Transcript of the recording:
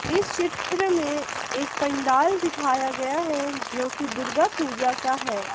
इस चित्र में एक पंडाल दिखाया गया है जो की दुर्गा पूजा का है।